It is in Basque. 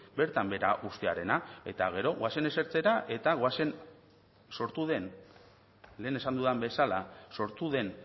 bertan behera uztearena eta gero goazen esertzera eta goazen sortu den lehen esan dudan bezala sortu den